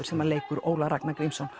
sem leikur Ólaf Ragnar Grímsson